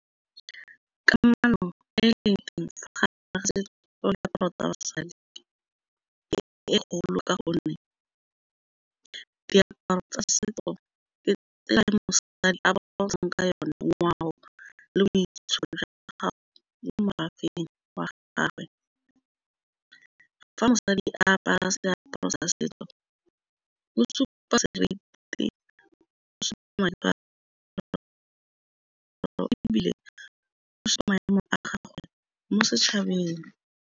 Kamano e e leng teng diaparo tsa basadi e golo ka gonne diaparo tsa setso ngwao le boitsholo jwa gago mo merafeng wa gagwe. Fa mosadi a apara seaparo sa setso o supa seriti o supa maemo a gagwe mo setšhabeng.